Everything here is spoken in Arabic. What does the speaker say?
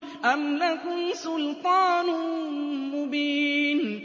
أَمْ لَكُمْ سُلْطَانٌ مُّبِينٌ